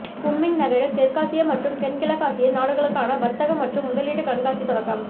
Kunming நகரில் தெற்காசிய மற்றும் தென்கிழக்காசிய நாடுகளுக்கான வர்த்தக மற்றும் முதலீட்டு கண்காட்சி தொடக்கம்